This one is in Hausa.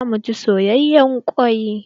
Zamu ci soyayen kwai.